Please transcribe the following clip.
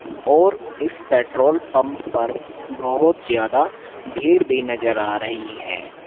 और इस petrol pump पर बहोत ज्यादा भीड़ भी नजर आ रही है।